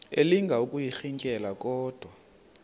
elinga ukuyirintyela kodwa